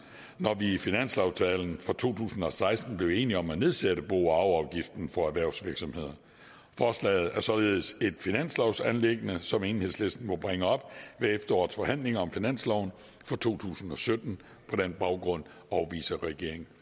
når vi i finanslovsaftalen for to tusind og seksten blev enige om at nedsætte bo og arveafgiften for erhvervsvirksomheder forslaget er således et finanslovsanliggende som enhedslisten må bringe op ved efterårets forhandlinger om finansloven for to tusind og sytten på den baggrund afviser regeringen